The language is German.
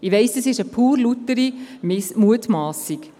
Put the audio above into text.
Ich weiss, das ist eine reine Miss-Mutmassung.